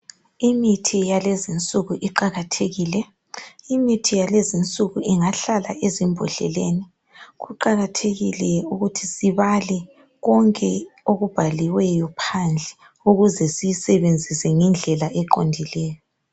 Imithi yalezinsuku iqakathekile ingahlala ezimbodleleni kuqakathekile ukuthi sibale konke okubhaliweyo phandle ukuze siyisebenzise ngendlela eqondileyo.